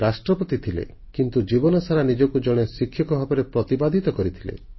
ସେ ରାଷ୍ଟ୍ରପତି ଥିଲେ କିନ୍ତୁ ଜୀବନସାରା ନିଜକୁ ଜଣେ ଶିକ୍ଷକ ଭାବରେ ପ୍ରତିପାଦିତ କରିଥିଲେ